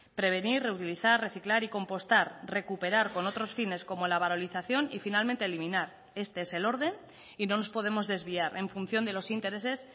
prevenir reutilizar reciclar y compostar recuperar con otros fines como la valorización y finalmente eliminar este es el orden y no nos podemos desviar en función de los intereses